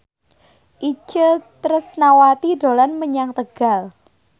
Itje Tresnawati dolan menyang Tegal